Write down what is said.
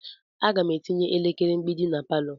Aga m etinye elekere mgbidi na palọ.